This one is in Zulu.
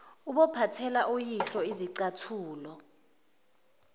ubophathela uyihlo isicathulo